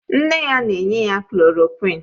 Nne ya na-enye ya klòròkwịn